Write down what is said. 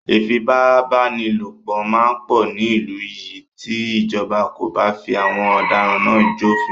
Ìfipábánilòpọ̀ máa pọ̀ ní ìlú yìí tí ìjọba kò bá fi àwọn ọ̀daràn náà jó òfin.